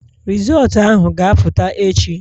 Rizọọtu ahụ ga-apụta echi